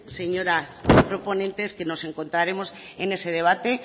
señoras proponentes que nos encontraremos en ese debate